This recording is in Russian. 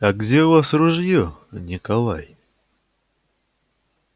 а где у вас ружье николай